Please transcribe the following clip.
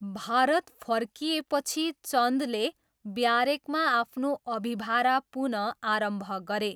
भारत फर्किएपछि चन्दले ब्यारेकमा आफ्नो अभिभारा पुनःआरम्भ गरे।